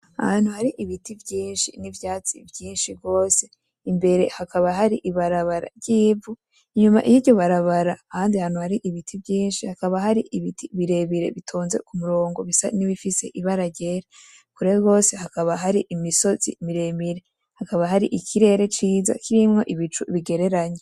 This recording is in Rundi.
Ahantu hari ibiti vyinshi n'ivyatsi vyinshi gose, imbere hakaba hari ibarabara ry'ivu, inyuma yiryo barabara ahandi hantu hari ibiti vyinshi, hakaba hari ibiti bitonze ku murongo bisa nibifise ibara ryera, kure gose hakaba hari imisozi miremire, hakaba hari ikirere kirimwo ibicu bigereranye.